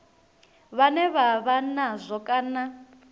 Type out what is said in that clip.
vhane vha vha nazwo kana